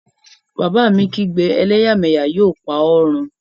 Bàbá mi kígbe, 'Ẹlẹ́yàmẹ́yà yóò pa ọ run!